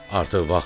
Artıq vaxt.